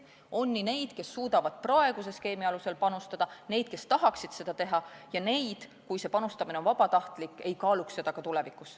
On neid, kes suudavad praeguse skeemi alusel panustada, neid, kes tahaksid seda teha, ja neid, kes siis, kui see panustamine on vabatahtlik, ei kaaluks seda ka tulevikus.